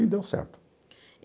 E deu certo.